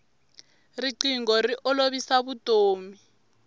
rinqingho ri olovisa vutomi